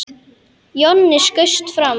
Jonni skaust fram.